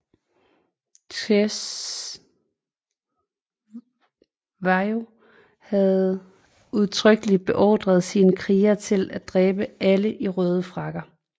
Cetshwayo havde udtrykkelig beordret sine krigere til at dræbe alle i røde frakker